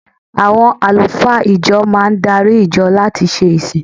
Àwọn àlùfáà ìjọ máa darí ìjọ láti ṣe ìsìn.